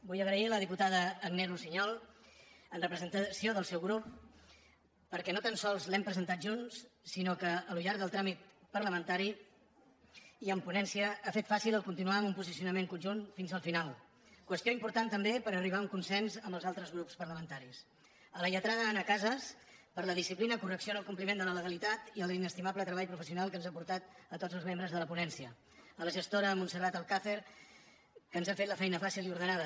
vull donar les gràcies a la diputada agnès russiñol en representació del seu grup perquè no tan sols l’hem presentat junts sinó que al llarg del tràmit parlamentari i en ponència ha fet fàcil el continuar amb un posicionament conjunt fins al final qüestió important també per arribar a un consens amb els altres grups parlamentaris a la lletrada anna casas per la disciplina correcció en el compliment de la legalitat i a l’inestimable treball professional que ens ha aportat a tots els membres de la ponència a la gestora montserrat alcàcer que ens ha fet la feina fàcil i ordenada